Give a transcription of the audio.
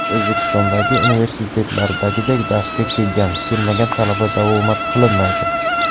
O‘zbekistondagi universitetlardagiday darsga kelgan, kelmagan talaba davomat qilinmaydi.